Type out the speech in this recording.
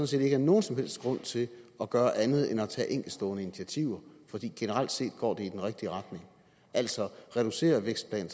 set ikke er nogen som helst grund til at gøre andet end at tage enkeltstående initiativer fordi det generelt set går i den rigtige retning altså reducerer vækstplanen